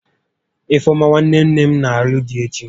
Ifeọma nwanne nne m n'alụ di echi